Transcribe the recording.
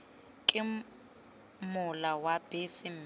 ke mola wa bese mme